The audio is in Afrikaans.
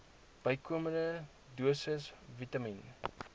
bykomende dosisse vitamien